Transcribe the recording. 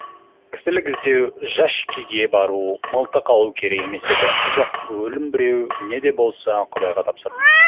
кісілік іздеу жашикеге бару мылтық алу керек емес еді жоқ өлім біреу неде болса құдайға тапсырдым